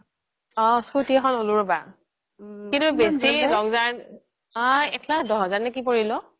অ scooty এখন ললো আৰু ৰবা অহ একলাখ দহ হাজাৰ মান পৰিল অ